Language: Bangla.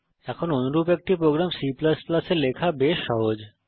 এখন অনুরূপ একটি প্রোগ্রাম C এ লেখা বেশ সহজ